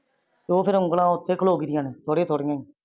ਓਹ ਫ਼ਰ ਉਂਗਲਾ ਓਥੇ ਖਾਲੋਗਿਆ ਦਿਆਂ ਨੇ ਥੋੜਿਆ ਥੋੜਿਆ